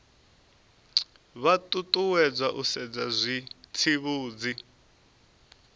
vha ṱuṱuwedzwa u sedza zwitsivhudzi